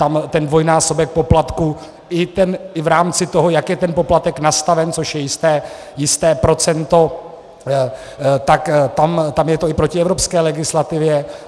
Tam ten dvojnásobek poplatku i v rámci toho, jak je ten poplatek nastaven, což je jisté procento, tak tam je to i proti evropské legislativě.